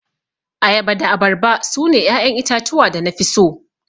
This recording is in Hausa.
Ayaba da abarba sune 'ya'yan itatuwa da nafi so.